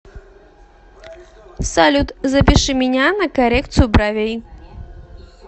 салют запиши меня на коррекциию бровей